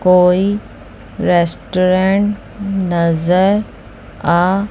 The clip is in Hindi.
कोई रेस्टरें नजर आ--